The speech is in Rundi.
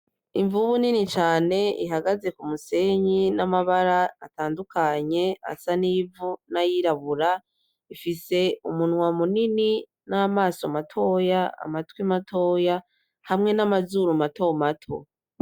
Imvubu nini cane ihagaze k'umusenyi n'amabara atandukanye asa nivu nayirabura, ifise umunwa munini namaso matoya amatwi matoya, hamwe namazuru matomato .